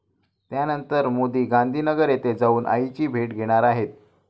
त्यानंतर मोदी गांधीनगर येथे जाऊन आईची भेट घेणार आहेत.